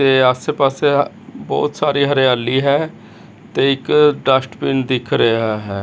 ਤੇ ਆਸੇ ਪਾਸੇ ਆਹ ਬਹੁਤ ਸਾਰੀ ਹਰਿਆਲੀ ਹੈ ਤੇ ਇੱਕ ਡਸਟਬਿਨ ਦਿੱਖ ਰਿਹਾ ਹੈ।